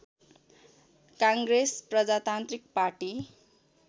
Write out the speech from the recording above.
काङ्ग्रेस प्रजातान्त्रिक पार्टी